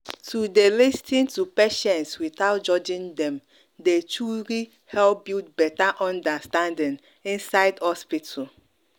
to dey lis ten to patients without judging dem dey truly help build better understanding inside hospital.